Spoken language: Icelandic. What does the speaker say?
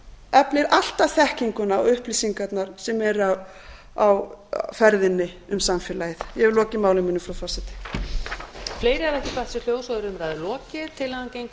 eflir alltaf þekkinguna og upplýsingarnar sem eru á ferðinni um samfélagið ég hef lokið máli mínu frú forseti